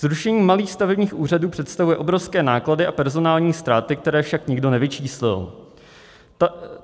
Zrušení malých stavebních úřadů představuje obrovské náklady a personální ztráty, které však nikdo nevyčíslil.